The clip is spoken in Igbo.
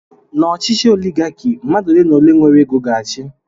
N'ọchịchị oligaki, mmadụ ole n'ole nwere ego ga-achị.